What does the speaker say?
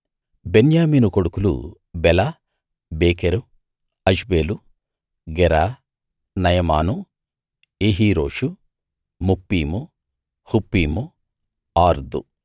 బెన్యామీను కొడుకులు బెల బేకెరు అష్బేలు గెరా నయమాను ఏహీరోషు ముప్పీము హుప్పీము ఆర్దు